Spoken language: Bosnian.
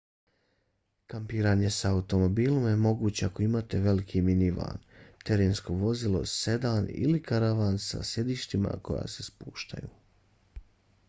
kampiranje sa automobilima je moguće ako imate veliki minivan terensko vozilo sedan ili karavan sa sjedištima koja se spuštaju